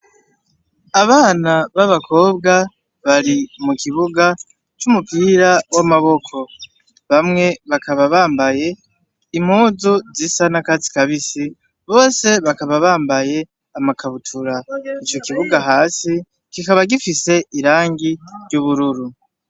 Abana b'abakobwa bari mukibuga c'umupira w'amaboko. Bamwe bakaba bambaye impuzu zisa n'akatsi kabisi; bose bakaba bambaye amakabutura. Icokibuga hasi kikaba gifise irangi ry'ubururu.